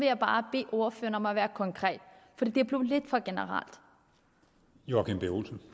jeg bare bede ordføreren om at være konkret for det blev lidt for generelt nu